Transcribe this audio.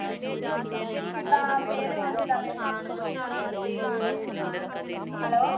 ਕਿੱਦਾਂ pay ਪੂਅ ਕਿੱਦਾਂ ਮਿਲਦੀ ਆ hello